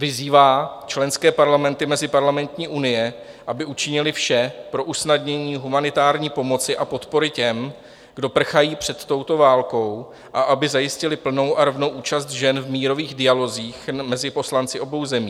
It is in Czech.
vyzývá členské parlamenty Meziparlamentní unie, aby učinily vše pro usnadnění humanitární pomoci a podpory těm, kdo prchají před touto válkou, a aby zajistily plnou a rovnou účast žen v mírových dialozích mezi poslanci obou zemí;